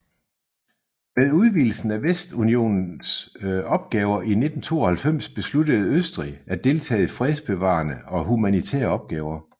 Med udvidelsen af Vestunionens opgaver i 1992 besluttede Østrig at deltage i fredsbevarende og humanitære opgaver